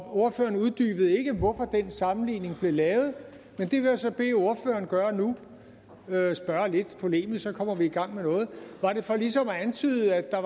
ordføreren uddybede ikke hvorfor den sammenligning blev lavet men det vil jeg så bede ordføreren gøre nu jeg spørger lidt polemisk for så kommer vi i gang med noget var det for ligesom at antyde at der